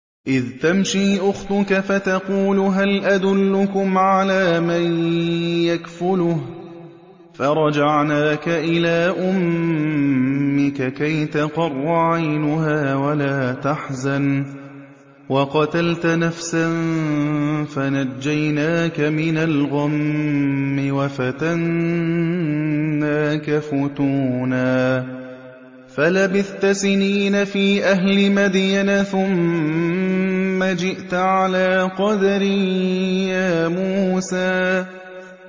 إِذْ تَمْشِي أُخْتُكَ فَتَقُولُ هَلْ أَدُلُّكُمْ عَلَىٰ مَن يَكْفُلُهُ ۖ فَرَجَعْنَاكَ إِلَىٰ أُمِّكَ كَيْ تَقَرَّ عَيْنُهَا وَلَا تَحْزَنَ ۚ وَقَتَلْتَ نَفْسًا فَنَجَّيْنَاكَ مِنَ الْغَمِّ وَفَتَنَّاكَ فُتُونًا ۚ فَلَبِثْتَ سِنِينَ فِي أَهْلِ مَدْيَنَ ثُمَّ جِئْتَ عَلَىٰ قَدَرٍ يَا مُوسَىٰ